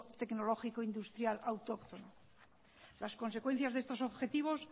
tecnológico industrial autóctono las consecuencias de estos objetivos